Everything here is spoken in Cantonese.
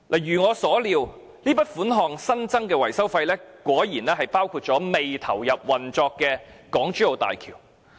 如我所料，這筆款項，即新增的維修費果然包括未投入運作的港珠澳大橋。